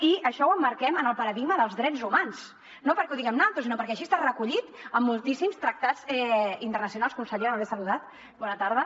i això ho emmarquem en el paradigma dels drets humans no perquè ho diguem naltros sinó perquè així està recollit en moltíssims tractats internacionals consellera no l’he saludat bona tarda